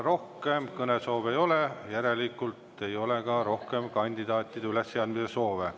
Rohkem kõnesoove ei ole, järelikult ei ole ka rohkem kandidaatide ülesseadmise soove.